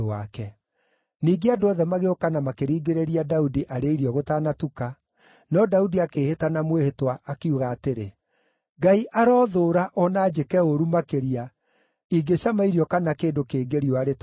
Ningĩ andũ othe magĩũka na makĩringĩrĩria Daudi arĩe irio gũtanatuka, no Daudi akĩĩhĩta na mwĩhĩtwa, akiuga atĩrĩ, “Ngai arothũũra, o na anjĩke ũũru makĩria, ingĩcama irio kana kĩndũ kĩngĩ riũa rĩtanathũa!”